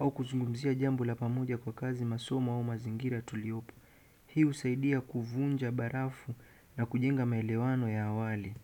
au kuzungumzia jambo la pamoja kwa kazi, masomo, au mazingira tuliyopo. Hii husaidia kuvunja barafu na kujenga maelewano ya awali.